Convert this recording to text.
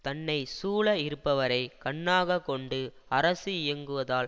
தன்னை சூழ இருப்பவரை கண்ணாக கொண்டு அரசு இயங்குவதால்